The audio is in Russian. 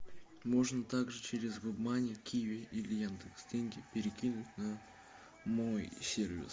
можно также через вебмани киви или яндекс деньги перекинуть на мой сервис